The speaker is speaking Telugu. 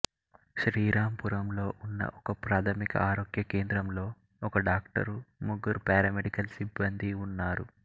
శ్రీరాంపురంలో ఉన్న ఒకప్రాథమిక ఆరోగ్య కేంద్రంలో ఒక డాక్టరు ముగ్గురు పారామెడికల్ సిబ్బందీ ఉన్నారు